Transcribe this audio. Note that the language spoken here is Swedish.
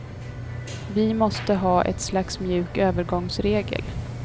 Vi måste ha ett slags mjuk övergångsregel.